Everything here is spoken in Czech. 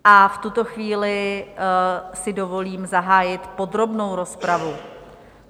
A v tuto chvíli si dovolím zahájit podrobnou rozpravu.